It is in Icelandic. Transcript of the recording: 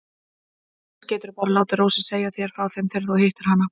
Annars geturðu bara látið Rósu segja þér frá þeim þegar þú hittir hana.